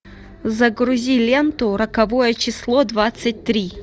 загрузи ленту роковое число двадцать три